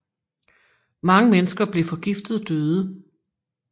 Mange mennesker blev forgiftet og døde